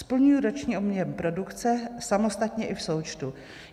Splňují roční objem produkce, samostatně i v součtu.